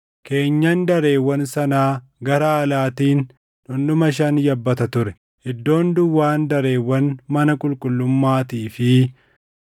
Keenyan dareewwan sanaa gara alaatiin dhundhuma shan yabbata ture. Iddoon duwwaan dareewwan mana qulqullummaatii fi